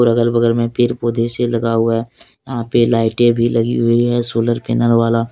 अगल बगल मे पेड पौधे से लगा हुआ है यहां पे लाईटे भी लगी हुई है सोलर पैनल वाला।